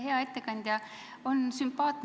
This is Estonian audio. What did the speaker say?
Hea ettekandja!